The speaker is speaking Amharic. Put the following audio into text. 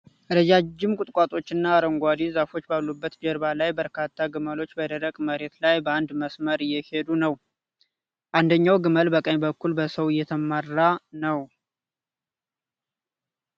ረዣዥም ቁጥቋጦዎችና አረንጓዴ ዛፎች ባሉበት ጀርባ ላይ በርካታ ግመሎች በደረቅ መሬት ላይ በአንድ መስመር እየሄዱ ነው ። አንደኛው ግመል በቀኝ በኩል በሰው እየተመራ ነው ።